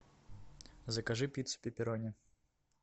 закажи пиццу пепперони